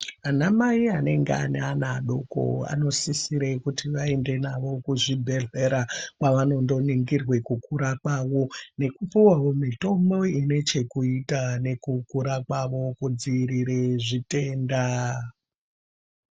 Ana mai anenge ane ana adoko anosisire kuti aende navo kuzvibhedhleya kwavanondo ningirwe kukura kwavo nekupuwawo mitombo inechekuita nekukura kwavo kudzivire zvitenda.